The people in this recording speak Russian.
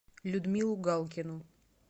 людмилу галкину